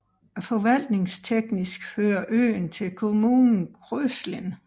Forvaltningsteknisk hører øen til kommunen Kröslin